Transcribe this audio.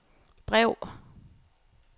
brev